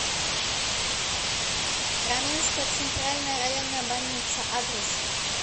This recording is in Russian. раменская центральная районная больница адрес